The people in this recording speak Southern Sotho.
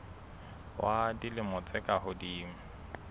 ba dilemo tse ka hodimo